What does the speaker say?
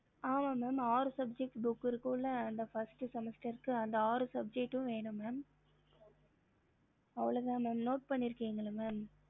ஹம்